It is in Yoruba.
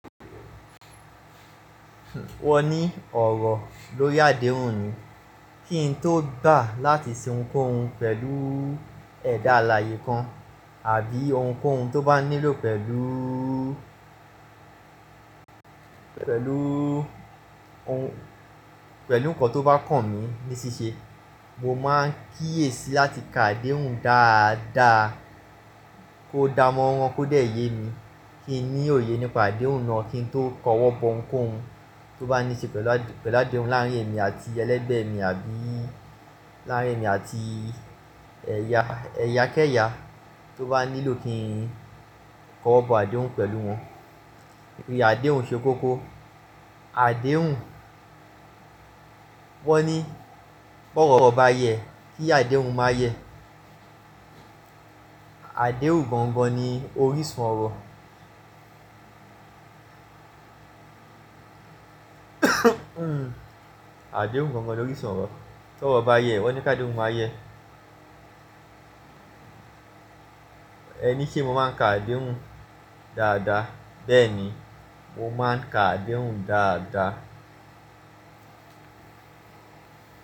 Wọ́n ní ọ̀rọ̀ lórí àdéhùn ni. Kí n tó gbà láti ṣe ohunkóhun pẹ̀lú ẹ̀dá alààyè kan àbí ohunkóhun tó bá nílò pẹ̀lú, pẹ̀lú ohun, pẹ̀lú nǹkan tó bá kàn mí ní ṣíṣe, mo máa ń kíyèsi láti kà adéhùn dáadáa kó dá mọ́rán kó dẹ̀ yé mi, kí n ní òye nípa àdéhùn náà kí n tó kọwọ́ bọ ohunkóhun tó bá níṣe pẹ̀lú à-- pẹ̀lú àdéhùn láàárín èmi àti ẹlẹ́gbẹ̀ẹ́ mi àbí láàárín èmi àti ẹ̀ya-- ẹ̀ya kẹ́ẹ́ya tó bá nílò kí n kọwọ́ bọ àdéhùn pẹ̀lú wọn. Iye àdéhùn ṣe kókó. Àdéhùn, wọ́n ní bi ọ̀rọ̀ bá yẹ kí àdéhùn máa yẹ. Àdéhùn gangan ni orísun ọ̀rọ̀. Àdéhùn gangan ni orísun ọ̀rọ̀. Bi ọ̀rọ̀ bá yẹ wọ́n ní kí àdéhùn máa yẹ. Ẹ ní se mo máa ń kà adéhùn dáadáa, bẹ́ẹ̀ ni mo máa ń kà adéhùn dáadáa.